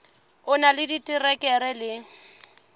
o na le diterekere le